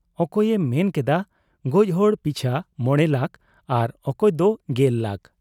ᱚᱠᱚᱭᱮ ᱢᱮᱱ ᱠᱮᱫᱟ ᱜᱚᱡᱦᱚᱲ ᱯᱤᱪᱷᱟᱹ ᱢᱚᱬᱮ ᱞᱟᱠᱷ ᱟᱨ ᱚᱠᱚᱭᱫᱚ ᱜᱮᱞ ᱞᱟᱠᱷ ᱾